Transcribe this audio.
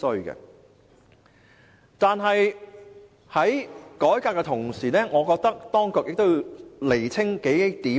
然而，在改革的同時，我覺得當局亦要釐清數點。